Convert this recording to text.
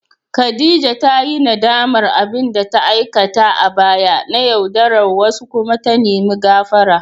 Khadija ta yi nadamar abin da ta aikata a baya na yaudarar wasu kuma ta nemi gafara.